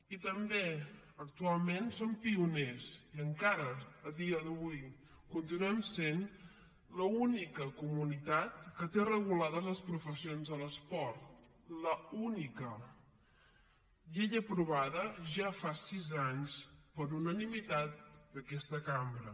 i també actualment som pioners i encara a dia d’avui continuem sent l’única comunitat que té regulades les professions de l’esport l’única llei aprovada ja fa sis anys per unanimitat d’aquesta cambra